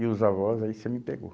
E os avós, aí você me pegou.